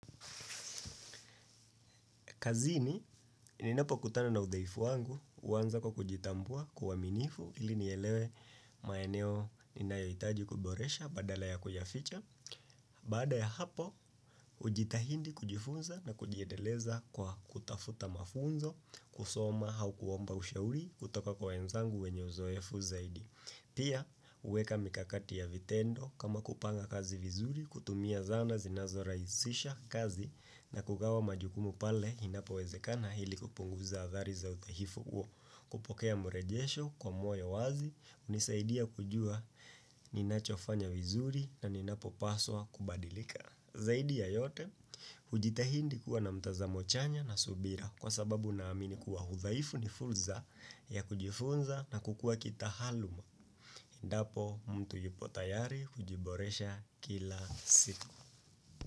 Kazini, ninapokutana na udhaifu wangu, huanza kwa kujitambua kwa uaminifu ili nielewe maeneo ninayohitaji kuboresha badala ya kuyaficha. Baada ya hapo, hujitahidi kujifunza na kujiendeleza kwa kutafuta mafunzo, kusoma au kuomba ushauri kutoka kwa wenzangu wenye uzoefu zaidi. Pia, huweka mikakati ya vitendo kama kupanga kazi vizuri, kutumia zana zinazorahisisha kazi na kugawa majukumu pale inapowezekana ili kupunguza athari za udhahifu huo, kupokea mrejesho kwa moyo wazi, hunisaidia kujua ninachofanya vizuri na ninapopaswa kubadilika. Zaidi ya yote, hujitahidi kuwa na mtazamo chanya na subira, kwa sababu na amini kuwa udhaifu ni fursa ya kujifunza na kukua kitaaluma. Endapo, mtu yupo tayari hujiboresha kila siku.